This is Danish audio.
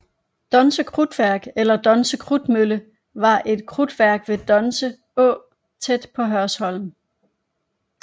Donse Krudtværk eller Donse Krudtmølle var et krudtværk ved Donse Å tæt på Hørsholm